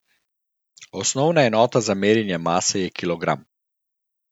Osnovna enota za merjenje mase je kilogram.